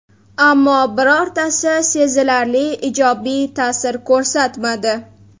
Ammo, birortasi sezilarli ijobiy ta’sir ko‘rsatmadi.